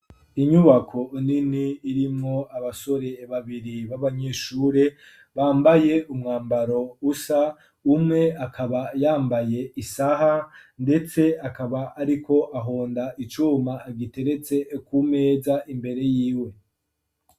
Inyubako nini irimwo abasore babiri b'abanyeshure bambaye umwambaro usa ,umwe akaba yambaye isaha ndetse akaba ariko ahonda icuma giteretse kumeza imbere yiwe.